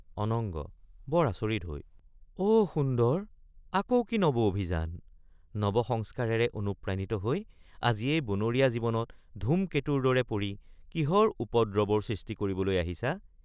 অনঙ্গ—বৰ আচৰিত হৈ অ সুন্দৰ আকৌ কি নব অভিযান নবসংস্কাৰেৰে অনুপ্ৰাণিত হৈ আজি এই বনৰীয়া জীৱনত ধুম কেতুৰ দৰে পৰি কিহৰ উপদ্ৰৱৰ সৃষ্টি কৰিবলৈ আহিছা?